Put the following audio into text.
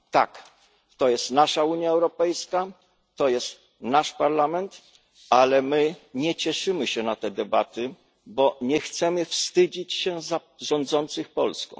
Tak, to jest nasza Unia Europejska, to jest nasz Parlament, ale my nie cieszymy się na te debaty, bo nie chcemy wstydzić się za rządzących Polską.